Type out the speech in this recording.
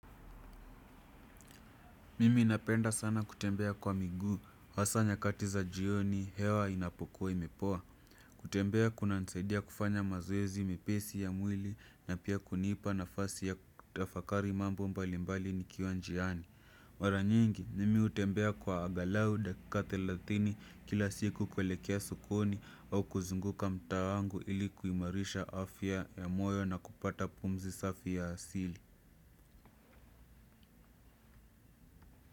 Mimi napenda sana kutembea kwa miguu, hasa nyakati za jioni, hewa inapokuwa imepoa. Kutembea kunanisaidia kufanya mazoezi, mepesi ya mwili, na pia kunipa nafasi ya kutafakari mambo mbalimbali nikiwa njiani mara nyingi, mimi hutembea kwa angalau dakika thelathini kila siku kuelekea sokoni au kuzunguka mtaa wangu ilikuimarisha afya ya moyo na kupata pumzi safi ya asili.